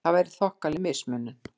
Það væri þokkaleg mismunun!